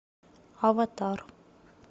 аватар